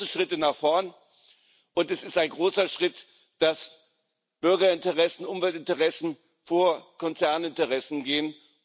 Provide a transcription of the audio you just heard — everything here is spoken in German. Das sind große Schritte nach vorn, und es ist ein großer Schritt, dass Bürgerinteressen, Umweltinteressen vor Konzerninteressen gehen.